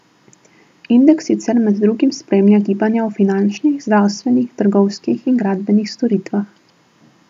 Indeks sicer med drugim spremlja gibanja v finančnih, zdravstvenih, trgovskih in gradbenih storitvah.